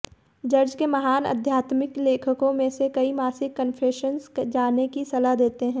church के महान आध्यात्मिक लेखकों में से कई मासिक कन्फेशंस जाने की सलाह देते हैं